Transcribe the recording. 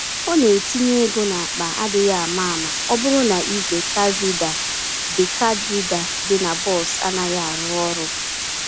Ọ na-etinye égo n'akpa adịghị àmà-àmà ọbụrụ na ìgwè card reader dị card reader dị na bọs anaghị arụ ọrụ